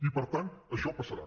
i per tant això passarà